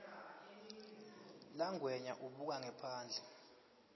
langwenya ubuka ngephandle